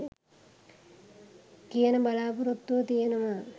කියන බලා‍පොරොත්තුව තියෙනවා.